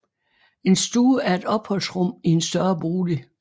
En stue er et opholdsrum i en større bolig